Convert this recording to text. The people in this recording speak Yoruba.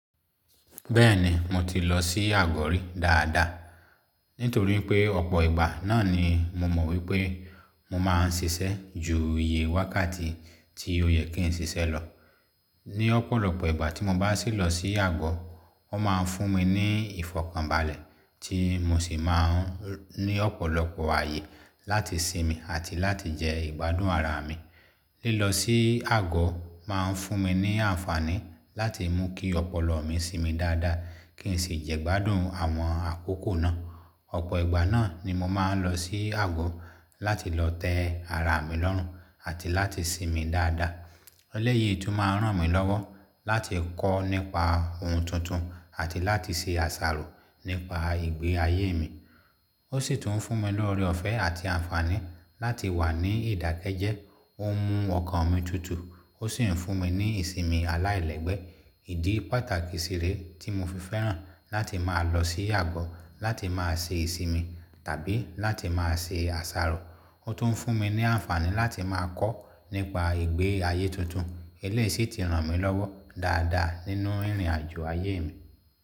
Bẹ́ẹ̀ni, mo ti lọ sí àgọ́ rí dáadáa. Nítorí pé ọ̀pọ̀ ìgbà náà ni mo mọ̀ wípé mo máa ń ṣiṣẹ́ ju iye wákàtí tí ó yẹ kí n ṣiṣẹ́ lọ. Ni ọ̀pọ̀lọpọ̀ ìgbà tí mo bá sì lọ sí àgọ́, wón máa ń fún mi ní ìfọkànbalẹ̀ tí mo sì máa ń ní ọ̀pọ̀lọpọ̀ ayé láti sinmi àti láti jẹ ìgbádùn ara mi. Lílọ sí àgọ́ máa ń fún mi ní àǹfààní láti mú kí ọpọlọ mi sinmi dáadáa kí n sì jẹ́ gbádùn àwọn àkókò náà. Ọ̀pọ̀ ìgbà náà ni mo máa ń lọ sí àgọ́ láti lọ tẹ́ ara mi lọ́rùn àti láti sinmi dáadáa. Ẹlẹ́yìí tún máa ń ràn mí lọ́wọ́ láti kọ́ nípa ohun tuntun àti láti ṣe àṣàrò nípa ìgbé ayé mi. Ó sì tún ń fún mi lóore ọ̀fẹ́ àti àǹfààní láti wà ní ìdákẹ́jẹ́ẹ́, ó ń mú ọkàn mi tutù, ó sì ń fún mi ní ìsinmi aláìlẹ́gbẹ́. Ìdí pàtàkì sì re tí mo fi fẹ́ràn láti máa lọ sí àgọ́ láti máa ṣe ìsinmi tàbí láti máa ṣe àṣàrò. Ó tún ń fún mi ní àǹfààní láti máa kọ́ nípa ìgbé ayé tuntun. Elẹ́yìí sì ti ràn mí lọ́wọ́ dáadáa nínú ìrìnàjò ayé mi.